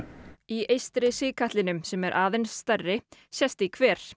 í eystri sigkatlinum sem er aðeins stærri sést í hver